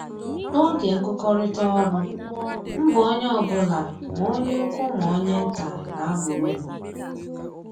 N'oge nkụkọrịta ọrụ, mbọ onye ọbụla ma onye ukwu ma onye nta na-aba uru